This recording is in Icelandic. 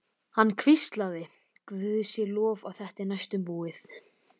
Hann hvíslaði: Guði sé lof að þetta er næstum búið.